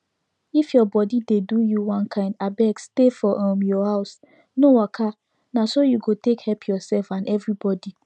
if your body dey do you one kind abeg stay for um your house no waka na so you go take help yourself and everybody